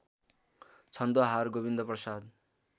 Chhandohar Govindprasad